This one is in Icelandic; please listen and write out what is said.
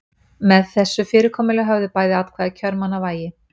Með þessu fyrirkomulagi höfðu bæði atkvæði kjörmanna vægi.